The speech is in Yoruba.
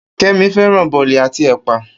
Kemi fẹ́ràn bòlì àti ẹ̀pà.